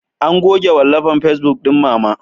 An goge wallafan facebuk ɗin Mama.